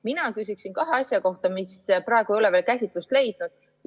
Mina küsiksin kahe asja kohta, mis praegu ei ole veel käsitlust leidnud.